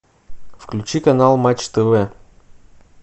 включи канал матч тв